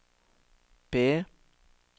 B